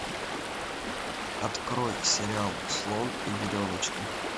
открой сериал слон и веревочка